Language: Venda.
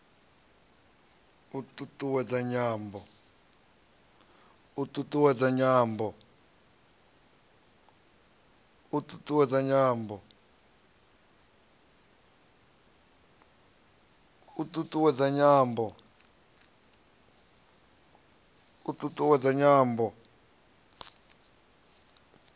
u t ut uwedza nyambo